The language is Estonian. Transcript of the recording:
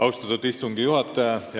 Austatud istungi juhataja!